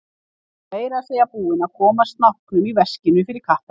Hann var meira að segja búinn að koma snáknum í veskinu fyrir kattarnef!